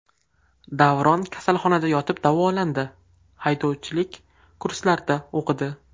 Davron kasalxonada yotib davolandi, haydovchilik kurslarida o‘qidi.